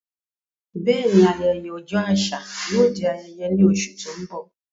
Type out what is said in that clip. Bẹ́ẹ̀ni, ayẹyẹ ọjọ́ àṣà yóò di ayẹyẹ ní oṣù tó ń bọ̀.